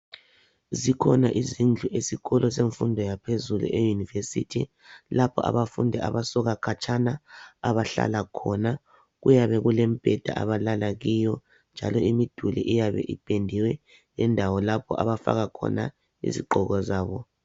Zikhona izindlu esikolo semfundo yaphezulu eUnirvesity lapho abafundi abasuka khatshana abahlala khona kuyabe kulemibheda abalala kuyo njalo imiduli iyabe ipendiwe lendawo lapho abafaka khona izigqoko zabo.